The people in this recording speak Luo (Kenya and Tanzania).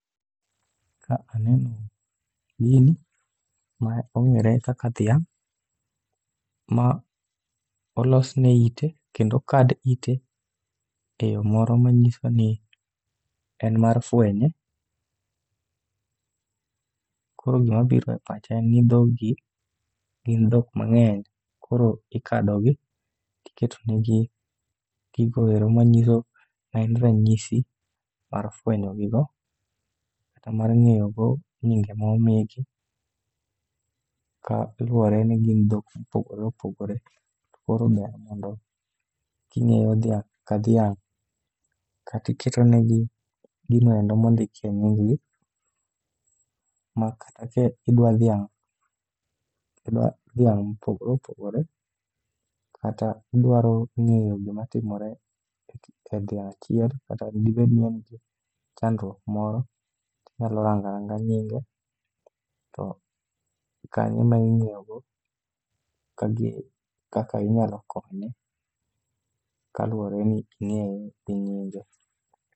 Ka aneno gini, ma ong'ere kaka dhiang', ma olosne ite kendo okad ite e yo moro ma nyiso ni en mar fwenye. Koro gimabiro e pacha en ni dhog gi, gin dhok mang'eny koro ikadogi tiketonegi gigoero manyiso maen ranyisi mar fwenyogigo. Kata mar ng'eyo go nyinge ma omigi, ka luwore ni gin dhok mopogore opogore. To koro ber mondo king'eyo dhiang' ka dhiang', katiketonegi ginoendo mondikie nying gi. Ma kata ki idwa dhiang' idwa dhiang' mopogore opogore, kata idwaro ng'eyo gimatimore e dhiang' achiel. Kata dibed ni e nitie chandruok moro, tinyalo ranga ranga nyinge to kanyo eming'eyogo ka gin, kaka inyalo konye. Kaluwore ni ing'eye gi nyinge.